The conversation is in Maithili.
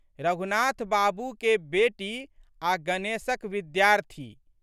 रघुनाथ बाबूके बेटी आ' गणेशक विद्यार्थी।